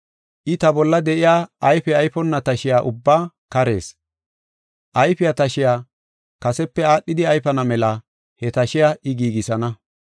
I, ta bolla de7iya ayfe ayfonna tashiya ubbaa karees. Ayfiya tashiya kasepe aadhidi ayfana mela he tashiya I giigisana.